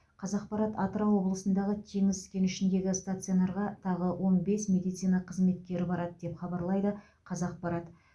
қазақпарат атырау облысындағы теңіз кенішіндегі стационарға тағы он бес медицина қызметкері барады деп хабарлайды қазақпарат